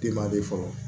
Denba de fɔlɔ